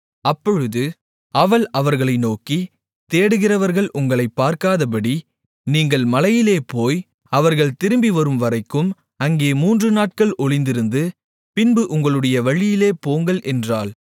அப்பொழுது அவள் அவர்களை நோக்கி தேடுகிறவர்கள் உங்களைப் பார்க்காதபடி நீங்கள் மலையிலே போய் அவர்கள் திரும்பிவரும்வரைக்கும் அங்கே மூன்றுநாட்கள் ஒளிந்திருந்து பின்பு உங்களுடைய வழியிலே போங்கள் என்றாள்